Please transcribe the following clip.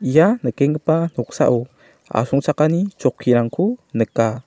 ia nikenggipa noksao asongchakani chokkirangko nika.